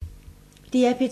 DR P2